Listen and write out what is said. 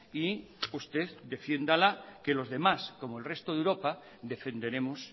y usted defiéndala que los demás como el resto de europa defenderemos